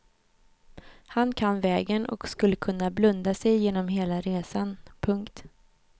Han kan vägen och skulle kunna blunda sig igenom hela resan. punkt